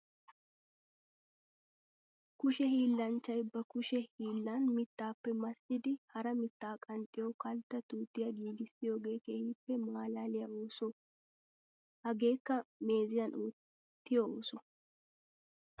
Kushe hiillanchchay ba kushe hiillan mittappe massiddi hara mitta qanxxiyo kaltta tuuttiya giigissiyooge keehippe malaaliya ooso. Hagekka meeziyan ootiyo ooso.